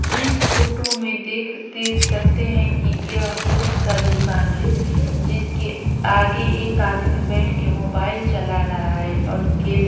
इस फोटो में देख देख सकते हैं कि यह बुक का दुकान है जिसके आगे एक आदमी बैठ के मोबाइल चला रहा है और केल--